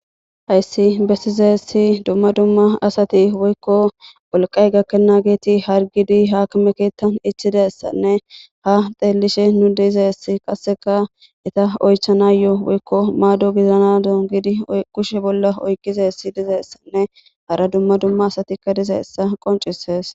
Hayssi bessizeessi dumma dumma asati woykko olqay gakkena geeti hargidi haakmekeettan ichidassanne ha xeellishe nu deizeess qasseka ita oychanayoo woykko maado gizana doongidi kushe bolla oyqizessi dizeessanne hara dumma dumma asatikka dizeessa qoncisees.